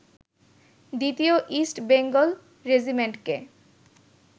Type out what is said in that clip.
দ্বিতীয় East Bengal রেজিমেন্টকে